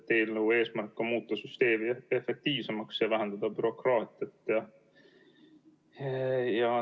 Eelnõu eesmärk on muuta süsteemi efektiivsemaks ja vähendada bürokraatiat.